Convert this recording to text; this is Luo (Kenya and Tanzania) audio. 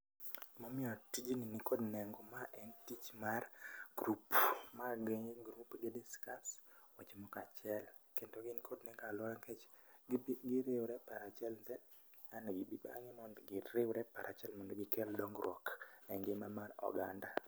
Momiyo tijni nikod nengo ma en tich mar group. Ma gin group gi discuss weche moko achiel, kendo gin kod mek aluora nikech giriwore e paro achiel bang'e giriwore e paro achiel mondo gikel dongruok e ngima mar oganda.